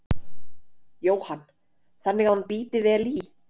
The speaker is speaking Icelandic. Jóhann: Þannig að hún bíti vel í?